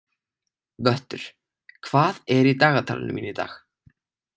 Vöttur, hvað er í dagatalinu mínu í dag?